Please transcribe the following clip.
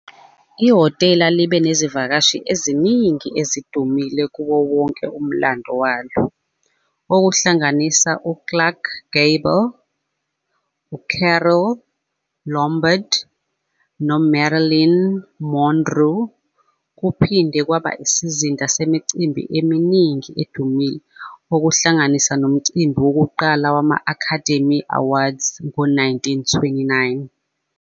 Ihhotela libe nezivakashi eziningi ezidumile kuwo wonke umlando walo, okuhlanganisa u-Clark Gable, u-Carole Lombard, no-Marilyn Monroe. Kuphinde kwaba isizinda semicimbi eminingi edumile, okuhlanganisa nomcimbi wokuqala wama-Academy Awards ngo-1929.